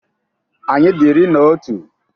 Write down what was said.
Anyị dị iri anọ na otu.